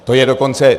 To je dokonce...